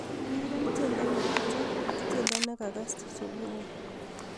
Ureren tiendo netucho ak tiendo nekakass subui